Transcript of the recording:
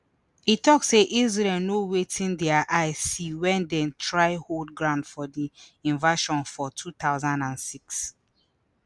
e tok say israel no wetin dia eye see wen dem try hold ground for di invasion for two thousand and six